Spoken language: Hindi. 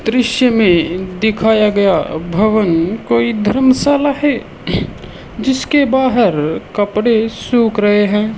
दृश्य में दिखाया गया भवन कोई धर्मशाला है जिसके बाहर कपड़े सूख रहे हैं।